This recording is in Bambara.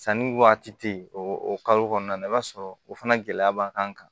Sanni waati tɛ o kalo kɔnɔna na i b'a sɔrɔ o fana gɛlɛya b'an kan